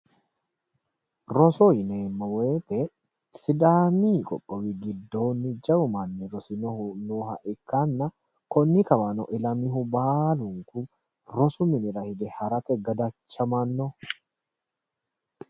Looso yineemmo woyte sidaami qoqqowi giddo jawu manni rosinohu nooha ikkanna konni kawano ilaminohu baalunku rosu minira higge harate gadachamano .